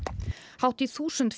hátt í þúsund